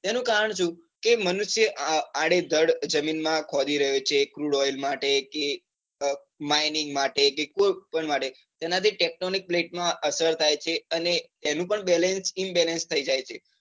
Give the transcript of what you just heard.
એનું કારણ સુ કે મનુષ્ય આડેધડ જમીન માં ખોદી રહ્યોછે. crude oil માટે કે mining માટે કે એના થી technonic, plate માં અસર થાય છે. તેનું પણ balance, imbalance થઇ જાય છે.